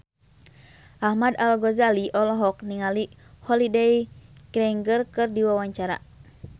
Ahmad Al-Ghazali olohok ningali Holliday Grainger keur diwawancara